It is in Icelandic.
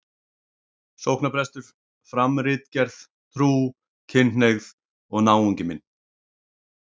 sóknarprestur, fram ritgerð, Trú, kynhneigð og náungi minn.